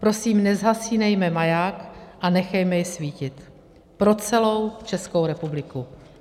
Prosím, nezhasínejme maják a nechme jej svítit pro celou Českou republiku.